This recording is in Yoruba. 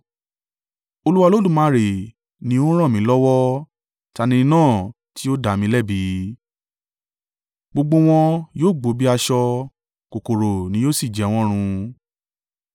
Olúwa Olódùmarè ni ó ń ràn mí lọ́wọ́. Ta ni ẹni náà tí yóò dá mi lẹ́bi? Gbogbo wọn yóò gbó bí aṣọ; kòkòrò ni yóò sì jẹ wọn run.